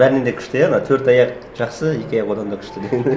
бәрінен де күшті иә ана төрт аяқ жақсы екі аяқ одан да күшті